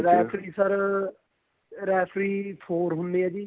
referee sir referee four ਹੁੰਦੇ ਏ ਜੀ